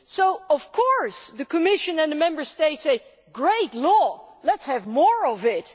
So of course the Commission and the Member States say great law, let's have more of it'.